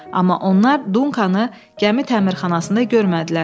Amma onlar Dunkanı gəmi təmirxanasında görmədilər.